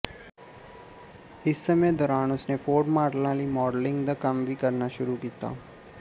ਇਸ ਸਮੇਂ ਦੌਰਾਨ ਉਸਨੇ ਫੋਰਡ ਮਾਡਲਾਂ ਲਈ ਮਾਡਲਿੰਗ ਦਾ ਕੰਮ ਵੀ ਕਰਨਾ ਸ਼ੁਰੂ ਕੀਤਾ